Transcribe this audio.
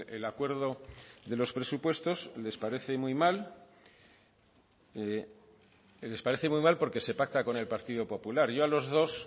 el acuerdo de los presupuestos les parece muy mal les parece muy mal porque se pacta con el partido popular yo a los dos